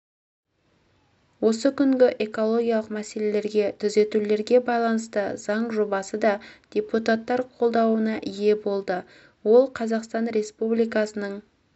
осы күні экологиялық мәселелерге түзетулерге байланысты заң жобасы да депутаттар қолдауына ие болды ол қазақстан республикасының